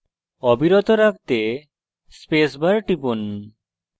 অবিরত রাখতে space bar টিপুন